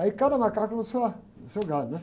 Aí cada macaco no seu, ah, no seu galho, né?